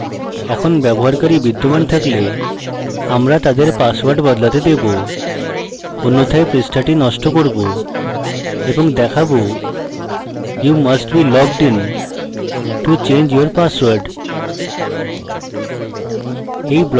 এখন ব্যবহারকারী বিদ্যমান থাকলে আমরা তাদের পাসওয়ার্ড বদলাতে দেবো অন্যথায় পৃষ্ঠাটি নষ্ট করব এবং দেখাবো you must be logged in to change your password